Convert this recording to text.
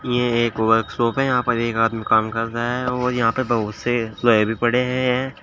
ये एक वर्कशॉप है यहां पर एक आदमी काम कर रहा है और यहां पे बहोत से लोहे भी पड़े है हैं।